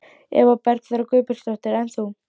Eva Bergþóra Guðbergsdóttir: En þú?